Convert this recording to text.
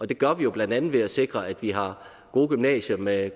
det gør vi jo blandt andet ved at sikre at vi har gode gymnasier med